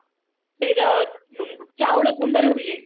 ଚାଉଳ ଗୁଣ୍ଡରୁ ହୁଏ